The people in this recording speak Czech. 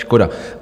Škoda.